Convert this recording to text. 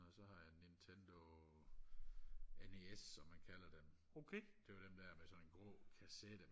og så har jeg en nintendo nes som man kalder den det var den der med sådan en grå kassette